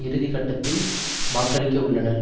இறுதி கட்டத்தில் வாக்களிக்க உள்ளனர்